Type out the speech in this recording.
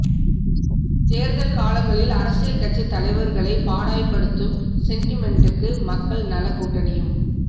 தேர்தல் காலங்களில் அரசியல் கட்சித் தலைவர்களை பாடாய்ப்படுத்தும் சென்டிமெண்ட்டுக்கு மக்கள் நலக் கூட்டணியும்